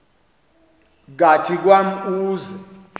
kathi kwam uze